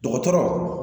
Dɔgɔtɔrɔw